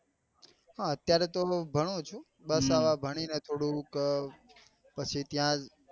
હા અત્યારે તો ભાનુ છું બસ ભાણી ને થોડુંક પછી ત્યાં જ